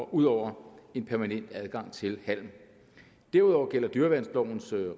ud over en permanent adgang til halm derudover gælder dyreværnslovens